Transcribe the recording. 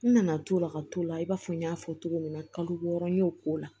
N nana t'o la ka t'o la i b'a fɔ n y'a fɔ cogo min na kalo wɔɔrɔ n y'o ko la